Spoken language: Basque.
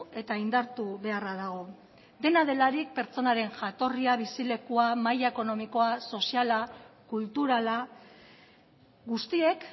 eta indartu beharra dago dena delarik pertsonaren jatorria bizilekua maila ekonomikoa soziala kulturala guztiek